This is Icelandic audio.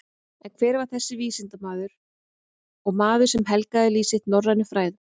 En hver var þessi vísindamaður og maður sem helgaði líf sitt norrænum fræðum?